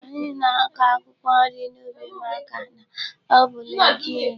Anyị na-akọ akwụkwọ nri n'ubi màkà na ọ bụ legiume.